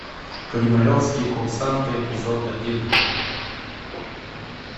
кремлевские курсанты эпизод один